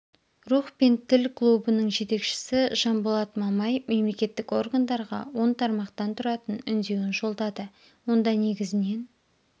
рух пен тіл клубының жетекшісі жанболат мамай мемлекеттік органдарға он тармақтан тұратын үндеуін жолдады онда негізінен